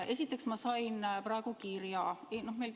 Esiteks, ma sain praegu kirja.